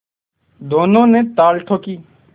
दोनों ने ताल ठोंकी